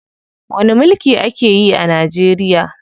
Wani mulki ake yi a Najeriya?